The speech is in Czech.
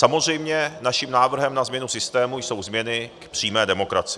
Samozřejmě naším návrhem na změnu systému jsou změny v přímé demokracii.